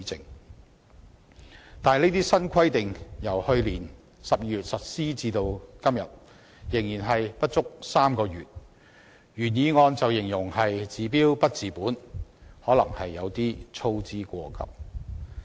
可是，這些新規定自去年12月實施至今不足3個月，原議案便把它形容為"治標不治本"，可能是有些操之過急。